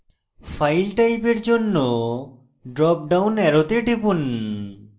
file type for জন্য drop down অ্যারোতে টিপুন